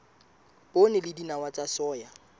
poone le dinawa tsa soya